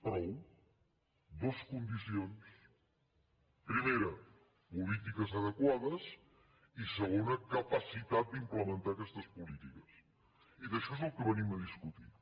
prou dues condicions primera polítiques adequades i segona capacitat d’implementar aquestes polítiques i d’això és del que venim a discutir